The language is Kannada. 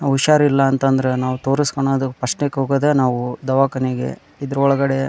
ನವುಷಾರಿಲ್ಲಾ ಅಂತ ಅಂದ್ರೆ ನಾವು ತೊರಸ್ಕೊನೋದು ಫಸ್ಟ್ ಏಕ್ ಹೋಗೋದೆ ನಾವು ದವಾಕಾನೆಗೆ ಇದ್ರೊಳಗಡೆ --